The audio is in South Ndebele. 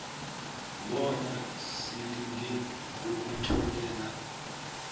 bona silinge ukutholela